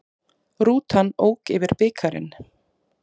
Rútan ók yfir bikarinn